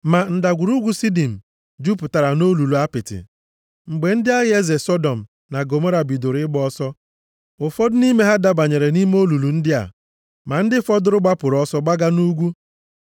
Ma Ndagwurugwu Sidim jupụtara nʼolulu apịtị. Mgbe ndị agha eze Sọdọm na Gọmọra bidoro ịgba ọsọ. Ụfọdụ nʼime ha dabanyere nʼime olulu ndị a, ma ndị fọdụrụ gbapụrụ ọsọ gbaga nʼugwu.